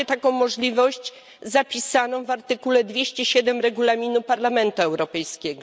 Macie taką możliwość zapisaną w artykule 207 Regulaminu Parlamentu Europejskiego.